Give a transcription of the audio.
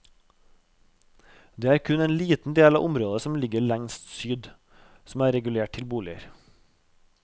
Det er kun en liten del av området, som ligger lengst syd, som er regulert til boliger.